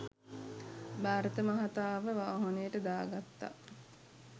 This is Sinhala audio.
භාරත මහතාව වාහනයට දාගත්තා